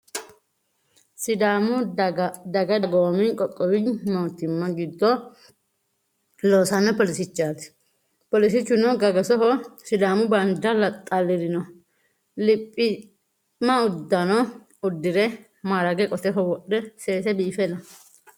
Sidaamu dagoomi dagoomi qoqqowi mootimma giddo loosanno poolisichaati. Poolisichuno gagasoho sidaamu baandiira xallirino. liphiima uddano uddire maarage qoteho wodhe seese biife no.